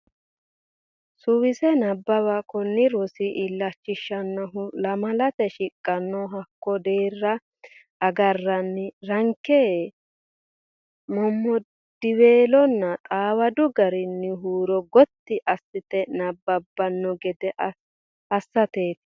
Suwise Nabbawa Kuni rosi illachishannohu lamalate shiqqanno hakko deerrira agarranni rankenni mommoddiweelonna xawadu garinni huuro gotti assite nabbabbanno gede assateeti.